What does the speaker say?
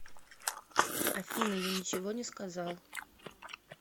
афина я ничего не сказал